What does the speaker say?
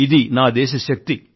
ఇదీ నా దేశ శక్తి